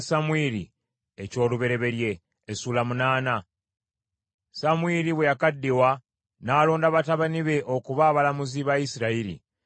Samwiri bwe yakaddiwa, n’alonda batabani be okuba abalamuzi ba Isirayiri.